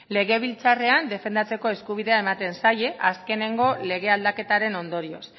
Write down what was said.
legebiltzarrean defendatzeko eskubidea ematen zaie azkenengo lege aldaketaren ondorioz